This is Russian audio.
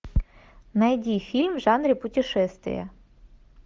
найди фильм в жанре путешествия